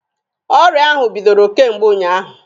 Ọrịa ahụ bidoro kemgbe ụnyaahụ.